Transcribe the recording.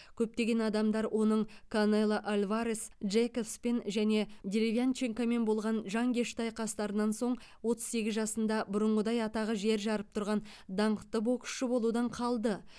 көптеген адамдар оның канело альварес джейкобспен және деревянченкомен болған жанкешті айқастарынан соң отыз сегіз жасында бұрынғыдай атағы жер жарып тұрған даңқты боксшы болудан қалды